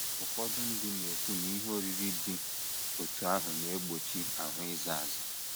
Ụfọdụ ndị na - ekwu na ihe oriri dị otú ahụ na - egbochi ahụ ịza aza.